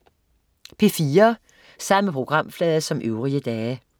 P4: